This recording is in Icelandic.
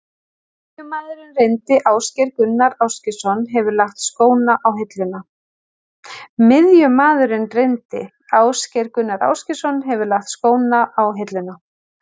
Miðjumaðurinn reyndi Ásgeir Gunnar Ásgeirsson hefur lagt skóna á hilluna.